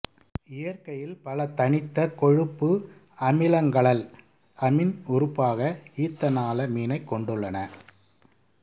இயற்கையில் பல தனித்த கொழுப்பு அமிலங்களல் அமீன் உறுப்பாக ஈத்தனாலமீனைக் கொண்டுள்ளன